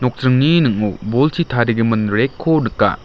ning·o bolchi tarigipa rack-ko nika.